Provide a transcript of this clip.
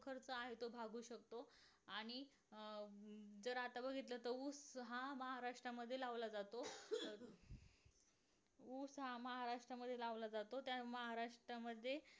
खर्च आहे तो भागवू शकतोआणि अं जर आता बघितलं तर ऊस हा महाराष्ट्रामध्ये लावला जातो ऊस हा महाराष्ट्रामध्ये लावला जातो त्या महाराष्ट्रामध्ये